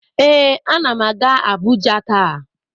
Ee, anam aga abuja ta.